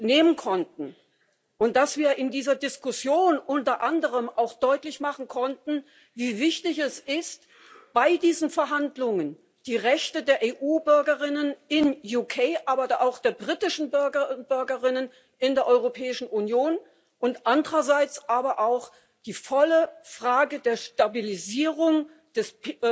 nehmen konnten und dass wir in dieser Diskussion unter anderem auch deutlich machen konnten, wie wichtig es ist, bei diesen Verhandlungen die Rechte der EU Bürgerinnen und EU Bürger im Vereinigten Königreich, aber auch der britischen Bürger und Bürgerinnen in der Europäischen Union und andererseits auch die gesamte Frage der Stabilisierung des